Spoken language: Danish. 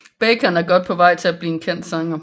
Bacon er godt på vej til at blive en kendt sanger